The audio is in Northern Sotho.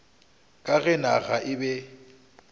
ka ge naga e be